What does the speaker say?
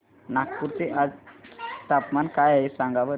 नागपूर चे आज चे तापमान काय आहे सांगा बरं